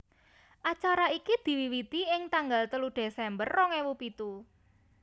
Acara iki diwiwiti ing tanggal telu Desember rong ewu pitu